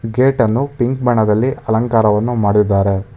Gate ಅನ್ನು pink ಬಣ್ಣದಲ್ಲಿ ಅಲಂಕಾರವನ್ನು ಮಾಡಿದ್ದಾರೆ.